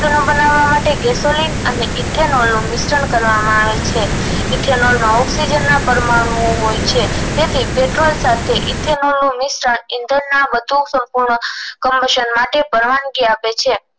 બનવા માટે gesoline અને ethanol નું મિશ્રણ કરવામાં આવે છે ethanol માં ઑક્સીજન ના પરમાણુઑ હોય છે તેથી પેટ્રોલ સાથે ethanol નું મિશ્રણ ઇધનના વધુ સંપૂન કમિશન માટે પરવાનગી આપે છે